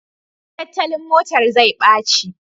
Tattalin motar zai ɓaci